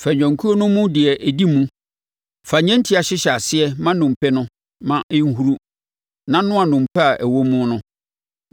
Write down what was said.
fa nnwankuo no mu deɛ ɔdi mu. Fa nnyentia hyehyɛ aseɛ ma nnompe no; ma ɛnhuru na noa nnompe a ɛwɔ mu no.